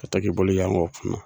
Ka to ki bolo yanga o kunna.